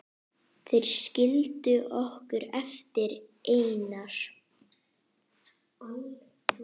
Þeir skildu okkur eftir einar.